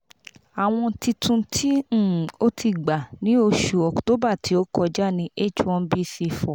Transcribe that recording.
awọn titun ti um o ti gba ni oṣù october ti o kọja ni h1bc four